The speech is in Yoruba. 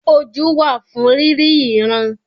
Ojú wà fún rírí ìran.